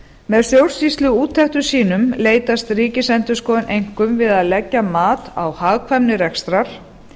með stjórnsýsluúttektum sínum leitast ríkisendurskoðun einkum við að leggja mat á hagkvæmni rekstrar